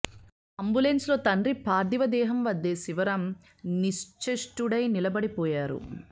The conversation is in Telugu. అంబులెన్స్ లో తండ్రి పార్థీవ దేహం వద్దే శివరాం నిశ్చేష్టుడై నిలబడిపోయారు